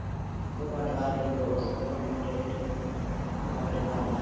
ਤੂੰ ਵੰਡ ਲਾ ਜਿਹੜੇ ਵੰਡਣੇ ਤੇ ਮੈਨੂੰ ਦੇਦੇ ਤੇ ਤੂੰ ਆਪਣੇ ਕਰਲਾ